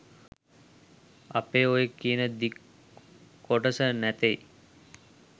අපේ ඔය කියන දික් කොටස නැතෙයි